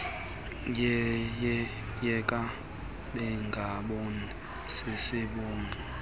yeke bengaboni sisombululo